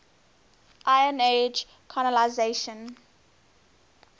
iron age colonisation